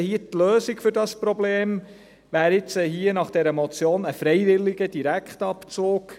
Die Lösung für dieses Problem wäre jetzt gemäss dieser Motion ein freiwilliger Direktabzug.